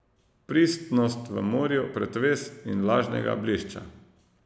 Pristnost v morju pretvez in lažnega blišča.